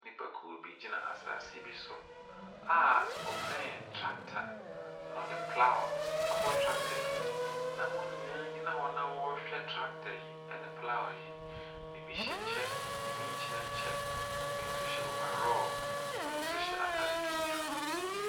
Nnipakuo bi gyina asaase bi so a ɔbɛn tractor na wɔde plough abɔ tractor anim, na wɔn nyinaa gyina hɔ no na wɔrehwɛ tractor yi ne plough no, bi hyɛ kyɛ, bi nhyɛ kyɛ, bi nso hyɛ overall, bi nso hyɛ ataade tuntum.